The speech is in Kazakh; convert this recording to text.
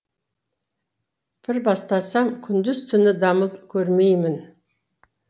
бір бастасам күндіз түні дамыл көрмеймін